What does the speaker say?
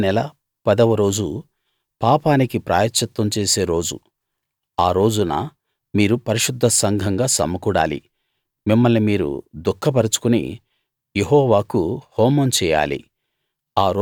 ఈ ఏడో నెల పదవ రోజు పాపానికి ప్రాయశ్చిత్తం చేసే రోజు అ రోజున మీరు పరిశుద్ధ సంఘంగా సమకూడాలి మిమ్మల్ని మీరు దుఃఖపరచుకుని యెహోవాకు హోమం చేయాలి